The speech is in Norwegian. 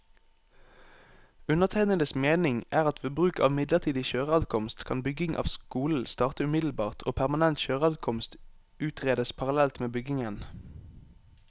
Undertegnedes mening er at ved bruk av midlertidig kjøreadkomst, kan bygging av skolen starte umiddelbart og permanent kjøreadkomst utredes parallelt med byggingen.